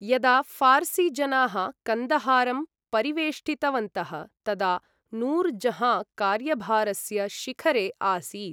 यदा फारसीजनाः कन्दहारं परिवेष्टितवन्तः, तदा नूर् जहाँ कार्यभारस्य शिखरे आसीत्।